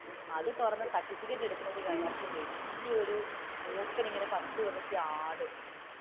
അത് തുറന്നുസർട്ടിഫിക്കറ്റ് എടുക്കുമ്പോഴെത്തെക്കും അതിന്റെ അകത്തു വലിയ ഒരു മൂർഖൻ ഇങ്ങനെ പത്തിവിടർത്തി ആഡും,